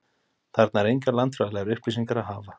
Þarna er engar landfræðilegar upplýsingar að hafa.